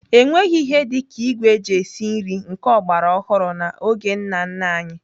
Enweghị ihe dị ka ìgwè eji esi nri nke ọgbara ọhụrụ n'oge nna nna anyị.